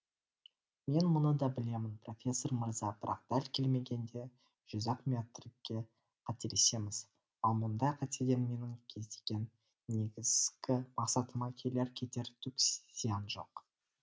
мен мұны да білемін профессор мырза бірақ дәл келмегенде жүз ақ метрге қателесеміз ал мұндай қатеден менің көздеген негізгі мақсатыма келер кетер түк зиян жоқ